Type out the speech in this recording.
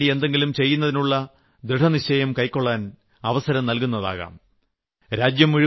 രാജ്യത്തിന് വേണ്ടി എന്തെങ്കിലും ചെയ്യുന്നതിനുളള ദൃഡനിശ്ചയം കൈക്കൊളളാൻ അവസരം നൽകുന്നതാകാം